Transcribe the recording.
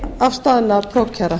og nýafstaðinna prófkjara